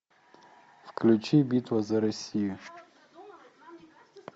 включи битва за россию